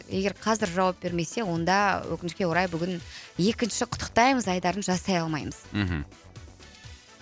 егер қазір жауап бермесе онда өкінішке орай бүгін екінші құттықтаймыз айдарын жасай алмаймыз мхм